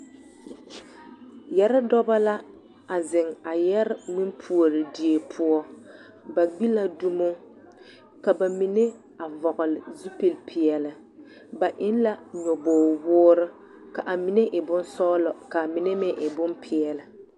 Yɛre dɔbɔ la a zeŋ a yɛre ŋmendie poɔ ba gbi la dumo ka bamine a vɔgele zupilipeɛle ba eŋ la nyɔbogi-woore ka a mine e bonsɔgelɔ ka a mine meŋ e bompeɛle.